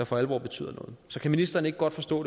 for alvor betyder noget så kan ministeren ikke godt forstå